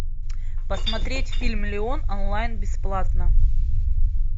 посмотреть фильм леон онлайн бесплатно